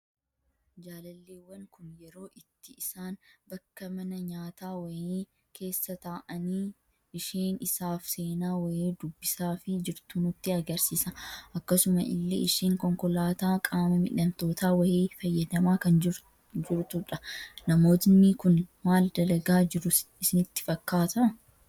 Jaalalleewwan Kun, yeroo itti isaan bakka mana nyaataa wayii keessa taa'anii, isheen isaaf seenaa wayii dubbisaafii jirtu nutti argisiisa. Akkasuma illee isheen konkolaataa qaama miidhamtootaa wayii fayyadamaa kan jirudha. Namoonni Kun maal dalagaa jiru isinitti fakkaata?